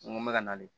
N ko n bɛ ka nalen